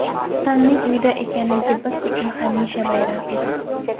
Otamning uyda ekanligi biz uchun hamisha bayram edi.